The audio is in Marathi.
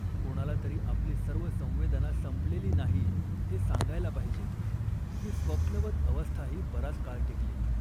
कोणाला तरी आपली सर्व संवेदना संपलेली नाही हे सांगायला पाहिजे. ही स्वप्नवत अवस्थाही बराच काळ टिकली